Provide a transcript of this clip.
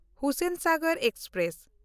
Hussainsagar express